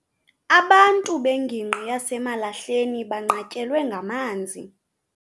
Abantu bengingqi yaseMalahleni banqatyelwe ngamanzi.